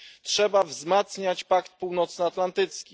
Trzeba wzmacniać Pakt Północnoatlantycki.